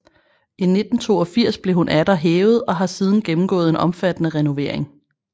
I 1982 blev hun atter hævet og har siden gennemgået en omfattende renovering